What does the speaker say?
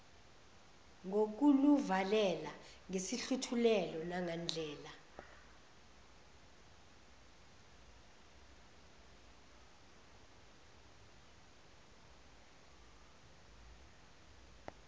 ngokuluvalela ngesihluthulelo nangandlela